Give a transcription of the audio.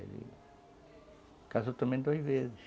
Ele casou também duas vezes.